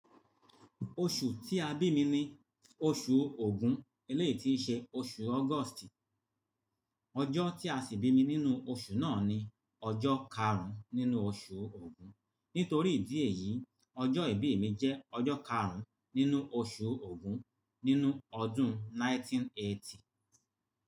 Oṣù tí a bí mi ni oṣù ogún eléyi tíi ṣẹ oṣù August. Ọjọ́ tí a sì bí mi nínú oṣù náà ni ọjọ́ karùn-ún nínú oṣù Ògún. Nítorí ìdí èyí, ọjọ́ ìbí mi jẹ́ ọjọ́ karùn-ún nínú oṣù Ògún nínú ọdún 1980.